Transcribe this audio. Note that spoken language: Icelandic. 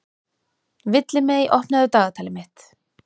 Villimey, opnaðu dagatalið mitt.